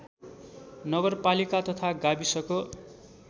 नगरपालिका तथा गाविसको